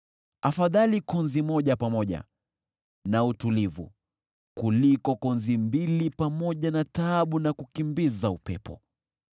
Afadhali konzi moja pamoja na utulivu kuliko konzi mbili pamoja na taabu na kukimbiza upepo.